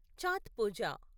Chhath Pooja